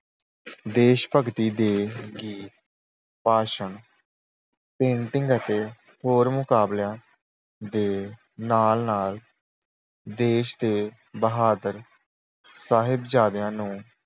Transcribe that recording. ਦੇਸ਼ ਭਗਤੀ ਦੇ ਗੀਤ, ਭਾਸ਼ਣ ਪੇਂਟਿੰਗ ਅਤੇ ਹੋਰ ਮੁਕਾਬਲਿਆਂ ਦੇ ਨਾਲ-ਨਾਲ ਦੇਸ਼ ਦੇ ਬਹਾਦਰ ਸਾਹਿਬਜ਼ਦਿਆਂ ਨੂੰ